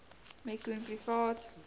me koen privaat